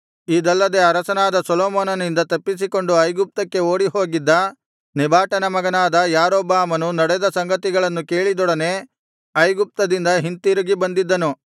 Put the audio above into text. ಇದಲ್ಲದೆ ಅರಸನಾದ ಸೊಲೊಮೋನನಿಂದ ತಪ್ಪಿಸಿಕೊಂಡು ಐಗುಪ್ತಕ್ಕೆ ಓಡಿ ಹೋಗಿದ್ದ ನೆಬಾಟನ ಮಗನಾದ ಯಾರೊಬ್ಬಾಮನು ನಡೆದ ಸಂಗತಿಗಳನ್ನು ಕೇಳಿದೊಡನೆ ಐಗುಪ್ತದಿಂದ ಹಿಂತಿರುಗಿ ಬಂದಿದ್ದನು